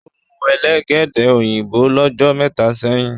o mú Elégédé òyìnbó l'ojo méta sẹyìn.